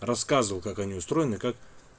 рассказывал как они устроены как